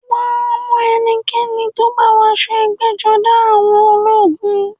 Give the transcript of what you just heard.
Wọ́n á mú ẹnikẹ́ni tó bá wọ aṣọ ẹgbẹ́-jọdá àwọn ológun.